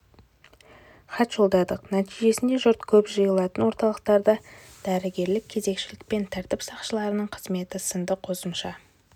хат жолдадық нәтижесінде жұрт көп жиылатын орталықтарда дәрігерлік кезекшілік пен тәртіп сақшыларының қызметі сынды қосымша